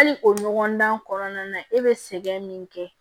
Hali o ɲɔgɔndan kɔnɔna na e be sɛgɛn min kɛ